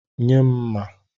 Nye m mma.